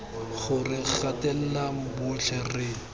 gore re gatelela botlhe re